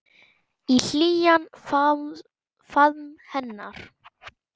Í hlýjan faðm hennar.